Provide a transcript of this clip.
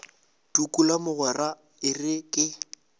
tukula mogwera e re ke